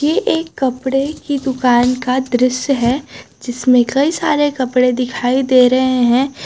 एक कपड़े की दुकान का दृश्य है जिसमें कई सारे कपड़े दिखाई दे रहे हैं।